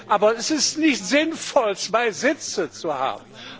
Aber es ist nicht sinnvoll, zwei Sitze zu haben.